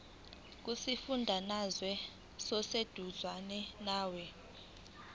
kusifundazwe oseduzane nawe